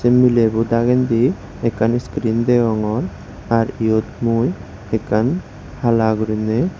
milebo dagendi ekkan screen degongor ar yot mui ekkan hala guriney.